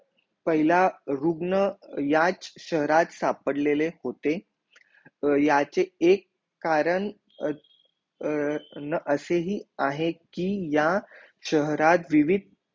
पहिला रुग्ण याच शहराच सापर लेले होते याचे एक कारण न असे ही आहे कि या शहराच विवीध